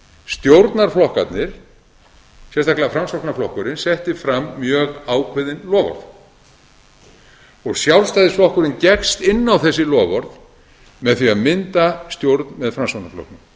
stjórnarflokkarnir sérstaklega framsóknarflokkurinn setti fram mjög ákveðin loforð og sjálfstæðisflokkurinn gekkst inn á þessi loforð með því að mynda stjórn með framsóknarflokknum